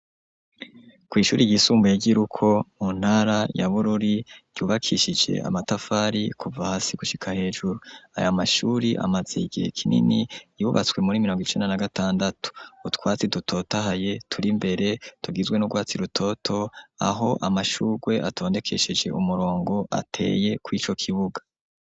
Kwishuri ryisumbuye ryi Ruko muntara ya Bururi yubakishije amatafari kuva hasi gushika hejuru. Aya mashuri amaze igihe kinini yubatswe muri mirongo icenda na gatandatu. Utwatsi dutotahaye turi mbere tugizwe n'u rwatsi rutoto aho amashurwe atondekesheje umurongo ateye kuri co kibuga.